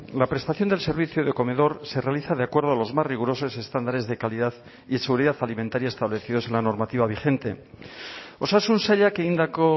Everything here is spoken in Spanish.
la prestación del servicio de comedor se realiza de acuerdo a los más rigurosos estándares de calidad y seguridad alimentaria establecidos en la normativa vigente osasun sailak egindako